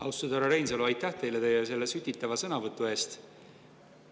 Austatud härra Reinsalu, aitäh teile selle sütitava sõnavõtu eest!